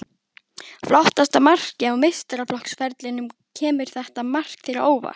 Flottasta markið á meistaraflokksferlinum Kemur þetta mark þér á óvart?